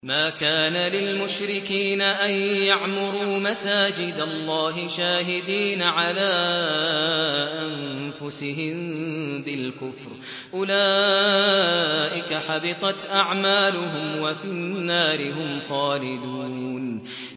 مَا كَانَ لِلْمُشْرِكِينَ أَن يَعْمُرُوا مَسَاجِدَ اللَّهِ شَاهِدِينَ عَلَىٰ أَنفُسِهِم بِالْكُفْرِ ۚ أُولَٰئِكَ حَبِطَتْ أَعْمَالُهُمْ وَفِي النَّارِ هُمْ خَالِدُونَ